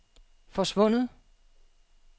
forsvundet